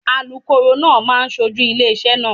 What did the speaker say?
Alukoro náà máa ṣojú ilé iṣẹ́ náà.